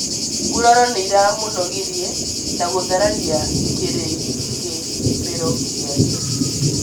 Nguraro nĩiramũnogirie na gũthararia kĩrĩgĩrĩro gĩake